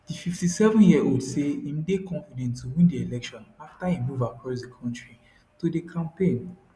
di 57yearold say im dey confident to win di election afta im move across di kontri to dey campaign